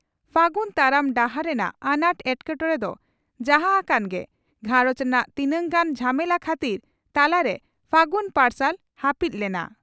ᱯᱷᱟᱹᱜᱩᱱ ᱛᱟᱲᱟᱢ ᱰᱟᱦᱟᱨ ᱨᱮᱱᱟᱜ ᱟᱱᱟᱴ ᱮᱴᱠᱮᱴᱚᱬᱮ ᱫᱚ ᱡᱟᱦᱟᱸ ᱦᱟᱠᱟᱱ ᱜᱮ ᱜᱷᱟᱨᱚᱸᱡᱽ ᱨᱮᱱᱟᱜ ᱛᱤᱱᱟᱝ ᱜᱟᱱ ᱡᱷᱟᱢᱮᱞᱟ ᱠᱷᱟᱹᱛᱤᱨ ᱛᱟᱞᱟᱨᱮ ᱯᱷᱟᱹᱜᱩᱱ ᱯᱟᱨᱥᱟᱞ ᱦᱟᱹᱯᱤᱫ ᱞᱮᱱᱟ ᱾